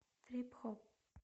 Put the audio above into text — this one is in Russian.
трип хоп